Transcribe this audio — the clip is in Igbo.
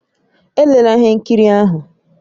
Elela ihe nkiri ahụ!